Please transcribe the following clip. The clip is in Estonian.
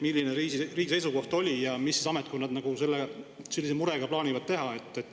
Milline on riigi seisukoht ja mida siis ametkonnad sellise murega plaanivad teha?